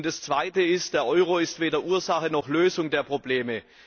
Das Zweite ist Der Euro ist weder Ursache noch Lösung der Probleme.